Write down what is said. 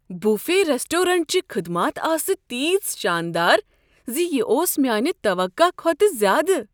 Buffet ریسٹورینٹچہِ خدمات آسہٕ تیژٕ شاندار ز یہِ اوس میٛانہِ توقع كھوتہٕ کھۄتہٕ زیادٕ۔